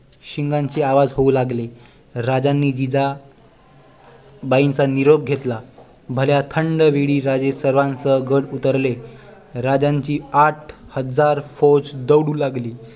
शिंगांचे आवाज होऊ लागले राजांनी जिजाबाईंचा निरोप घेतला भल्या थंड वेळी राजे सर्वांसह गड उतरले राजांची आठ हजार फौज दौडू लागली